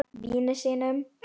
Vini sínum.